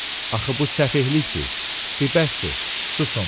Axı bu səfehlikdir, ti bəsdir, susun.